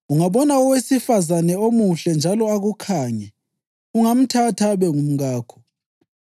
ungabona owesifazane omuhle njalo akukhange, ungamthatha abe ngumkakho.